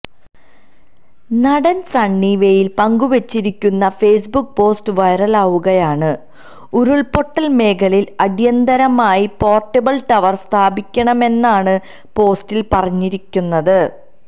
നടൻ സണ്ണി വെയ്ൻ പങ്കുവെച്ചിരിക്കുന്ന Facebook post വൈറലാവുകയാണ് ഉരുള്പൊട്ടൽ മേഖലയിൽ അടിയന്തരമായി പോര്ട്ടബിള് ടവർ സ്ഥാപിക്കണമെന്നാണ് പോസ്റ്റിൽ പറഞ്ഞിരിക്കുന്നത്